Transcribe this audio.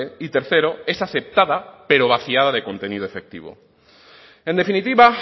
y tercero es aceptada pero vaciada de contenido efectivo en definitiva